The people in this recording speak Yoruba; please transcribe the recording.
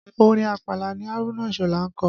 Orin àpàlà ni Haruna Isola ń kọ